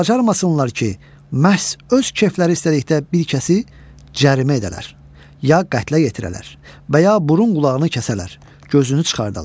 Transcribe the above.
Və bacarmasınlar ki, məhz öz kefləri istədikdə bir kəsi cərimə edələr, ya qətlə yetirələr, və ya burun qulağını kəsələr, gözünü çıxardalar.